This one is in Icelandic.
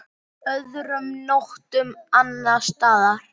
Öðrum nóttum annars staðar?